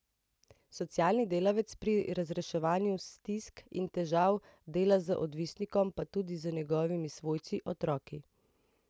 Socialni delavec pri razreševanju stisk in težav dela z odvisnikom pa tudi z njegovimi svojci, otroki.